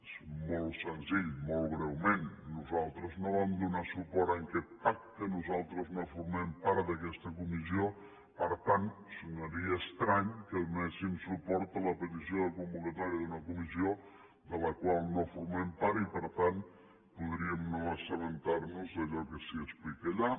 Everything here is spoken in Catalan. és molt senzill molt breument nosaltres no vam donar suport a aquest pacte nosaltres no formem part d’aquesta comissió per tant sonaria estrany que donéssim suport a la petició de convocatòria d’una comissió de la qual no formem part i per tant podríem no assabentar nos d’allò que s’hi explica allà